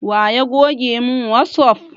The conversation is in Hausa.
Wa ya goge mun wasup